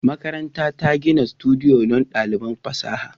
Makarantar ta gina sudiyo don ɗaliban fasaha